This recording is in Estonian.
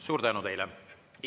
Suur tänu teile!